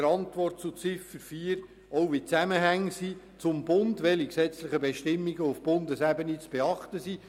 Darin wird auch aufgezeigt, welche Zusammenhänge mit dem Bund bestehen und welche gesetzlichen Bestimmungen zu beachten sind.